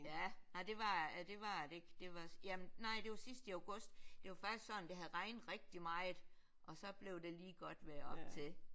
Ja nej det var det var det ikke det var jamen nej det var sidst i august. Det var faktisk sådan det havde regnet rigtig meget og så blev det lige godt vejr op til